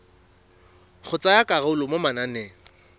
go tsaya karolo mo mananeng